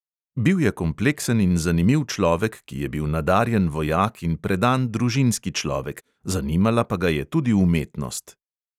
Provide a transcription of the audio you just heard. Bil je kompleksen in zanimiv človek, ki je bil nadarjen vojak in predan družinski človek, zanimala pa ga je tudi umetnost.